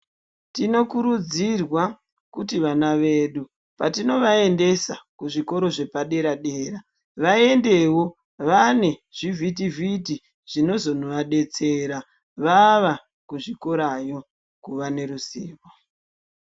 Tinokurudzirwa kuti vana vedu ,patinovaendesa kuzvikora zvepadera-dera, vaendewo vane zvivhitivhiti, zvinozovadetsera vava kuzvikorayo kuva neruzivo.